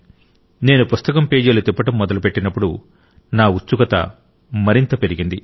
నేను పుస్తకం పేజీలు తిప్పడం మొదలుపెట్టినప్పుడు నా ఉత్సుకత మరింత పెరిగింది